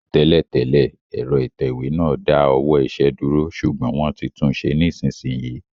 Tẹ́lẹ̀ tẹ́lẹ̀, ẹ̀rọ ìtẹ̀wé náà dá ọwọ́ iṣẹ́ dúró, ṣùgbọ́n wọ́n ti tunṣe nísinsìnyí